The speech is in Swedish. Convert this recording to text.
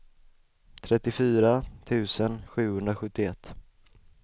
trettiofyra tusen sjuhundrasjuttioett